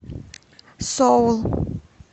соул